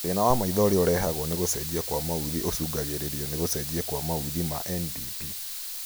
Thĩna wa maitho ũrĩa ũrehagwo nĩ gũcenjia kwa maũthĩ ũcũngagĩrĩrio nĩ gũcenjia kwa maũthĩ ma NDP